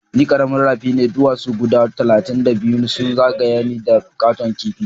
Ni karamin rafi ne ,duwasu guda talatin da biyu sun zagaya ni da katon kipi.